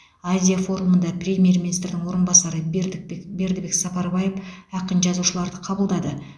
азия форумында премьер министрдің орынбасары бердікбек сапарбаев ақын жазушыларды қабылдады